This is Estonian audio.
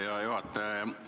Hea juhataja!